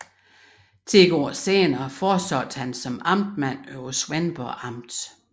Ti år senere fortsatte han som amtmand over Svendborg Amt